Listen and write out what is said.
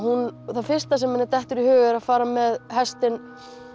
það fyrsta sem henni dettur í hug er að fara með hestinn